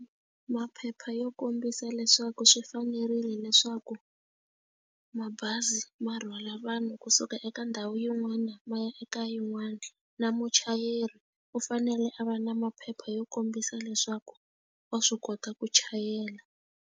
Maphepha yo kombisa leswaku swi fanerile leswaku mabazi ma rhwala vanhu kusuka eka ndhawu yin'wana ma ya eka yin'wana, na muchayeri u fanele a va na maphepha yo kombisa leswaku wa swi kota ku chayela.